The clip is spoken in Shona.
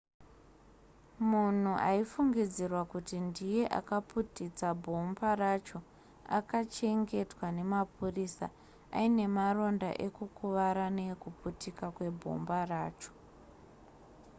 munhu aifungidzirwa kuti ndiye akaputitsa bhomba racho akachengetwa nemapurisa aine maronda ekukuvara nekuputika kwebhomba racho